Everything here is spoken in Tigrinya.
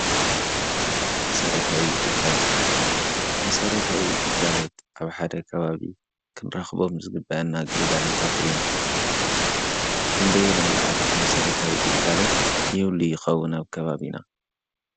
መሰረታዊ ግልጋሎት፦ መሰረታዊ ግልጋሎት ኣብ ሓደ ከባቢ ክንረክቦም ዝግበአና ግልጋሎታት እዮም። ክንደየናይ ልኣክል መሰረታዊ ግልጋሎት ይህሊ ይከውን ኣብ ከባቢና?